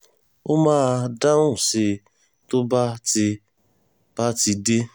ó máa dáhùn sí i tó bá ti bá ti dé